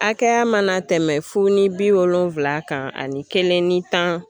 Hakɛya mana tɛmɛn fu ni bi wolonfila kan ani kelen ni tan.